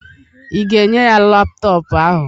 ị ga-enye ya laptọọpụ ahụ?